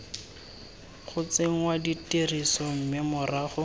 go tsenngwa tirisong mme morago